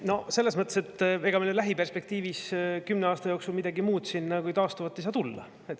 No selles mõttes, et ega meile lähiperspektiivis, kümne aasta jooksul midagi muud siin kui taastuvat ei saa tulla.